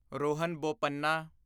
Rohan Bopanna